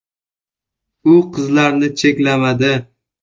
U qizlarni cheklamadi.